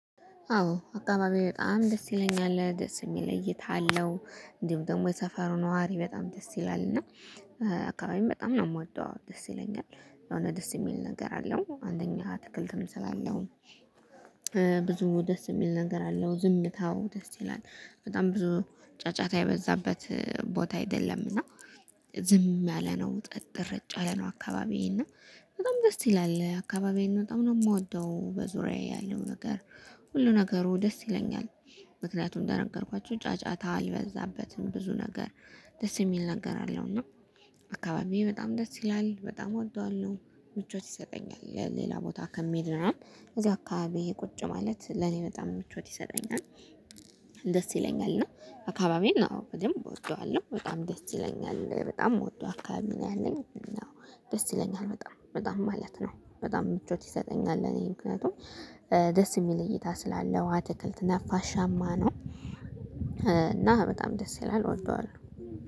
አዎ አካባቢዬ በጣም ደስ ይለኛል ደስ የሚል እይታ አለው እንዲሁም ደግሞ የሰፈሩ ነዋሪ በጣም ደስ ይላል። እና አካባቢም በጣም ነው የምወጣው ደስ ይለኛል የሆነ ደስ የሚል ነገር አለው አንደኛ አትክልትም ስላለው። ብዙ ደስ የሚል ነገር አለው ዝምታው ደስ ይላል። በጣም ብዙ ጫጫታ የበዛበት ቦታ አይደለምና ዝም ያለ ነው ፀት ረጭ ያለ ነው። አካባቢዬ እና በጣም ደስ ይላል አካባቢዬን በጣም ነው የምወደው በዙሪያዬ ያለው ነገር ሁሉ ነገሩ ደስ ይለኛል። ምክንያቱም እንደነገርኳችሁ ጫጫታ አልበዛበትም ብዙ ነገር ደስ የሚል ነገር አለውና። እና አካባቢዬ በጣም ደስ ይላል በጣም እወደዋለሁ። ምቾት ይሰጠኛል ሌላ ቦታ ከምሄድ ምናምን እዚሁ አካባቢዬ ቁጭ ማለት ለኔ በጣም ምቾት ይሰጠኛል። ደስ ይለኛል እና አካባቢዬን አው በደምብ እወደዋለሁ በጣም ደስ ይለኛል። በጣም እምወደው አካባቢ ነው ያለኝ ያው ደስ ይለኛል በጣም በጣም ማለት ነው። በጣም ምቾት ይሰጠኛል። ለእኔ ምክንያቱም ደስ የሚል እይታ ስላለው አትክልት ነፋሻማ ነው እና በጣም ደስ ይላል። እወደዋለው